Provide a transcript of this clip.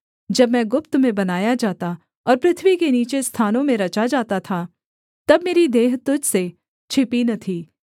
जब मैं गुप्त में बनाया जाता और पृथ्वी के नीचे स्थानों में रचा जाता था तब मेरी देह तुझ से छिपी न थीं